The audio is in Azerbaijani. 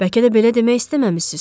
Bəlkə də belə demək istəməmisiz.